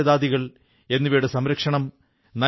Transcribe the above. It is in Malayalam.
അങ്ങയ്ക്ക് ഈ പുസ്തകാലയത്തിന്റെ ആശയം എങ്ങനെയുണ്ടായി